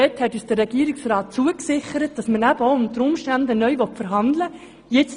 Der Regierungsrat hat uns zugesichert, dass man unter Umständen neu verhandeln will.